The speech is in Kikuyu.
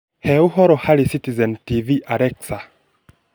He ũhoro harĩ Citizen tv Alexa